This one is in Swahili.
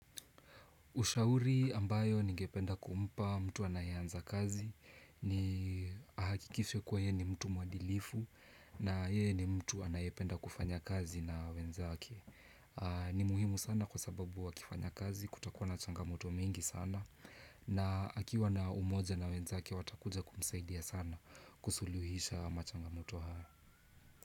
Ushauri ambayo ningependa kumpa mtu anayeanza kazi ni ahakikishe kuwa ye ni mtu mwadilifu na yeye ni mtu anayependa kufanya kazi na wenzake. Ni muhimu sana kwa sababu wakifanya kazi kutakuwa na changamoto mingi sana na akiwa na umoja na wenzake watakuja kumsaidia sana kusuluhisha ama changamoto haya.